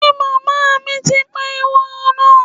Ṣe màmá mi ti pa ekòló náà?